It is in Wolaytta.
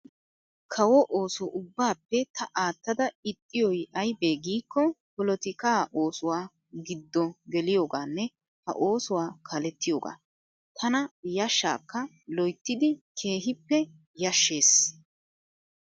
Kawoo ooso ubbaappe ta aattada ixxiyooyi ayibee giikko polotikaa oosuwaa giddo geliyoogaanne ha oosuwaa kaalettiyoogaa. Tana yashshaakka loyittidi keehippe yashshes.